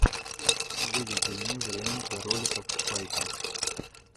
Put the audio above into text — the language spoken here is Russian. выведи мне варианты роликов спайка